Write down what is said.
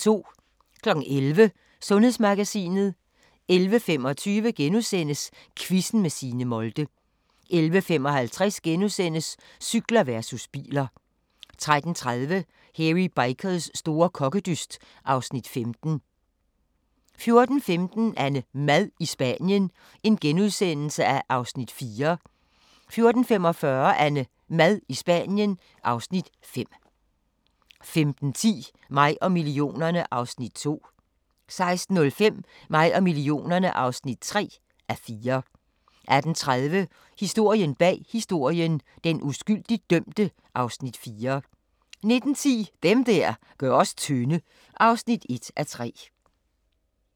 11:00: Sundhedsmagasinet 11:25: Quizzen med Signe Molde * 11:55: Cykler versus biler * 13:30: Hairy Bikers store kokkedyst (Afs. 15) 14:15: AnneMad i Spanien (4:8)* 14:45: AnneMad i Spanien (5:8) 15:10: Mig og millionerne (2:4) 16:05: Mig og millionerne (3:4) 18:30: Historien bag historien – den uskyldigt dømte (Afs. 4) 19:10: Dem der gør os tynde (1:3)